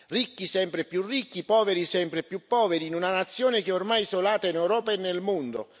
Ricchi sempre più ricchi, poveri sempre più poveri, in una nazione che ormai è isolata in Europa e nel mondo.